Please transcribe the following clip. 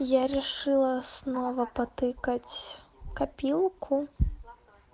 я решила снова потыкать копилку